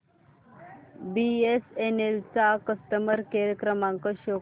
BSNL चा customer care क्रमांक show कर